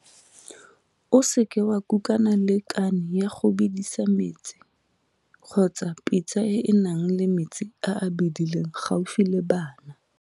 O seke wa kukana le kane ya go bedisa metsi kgotsa pitsa e e nang le metsi a a bedileng gaufi le bana.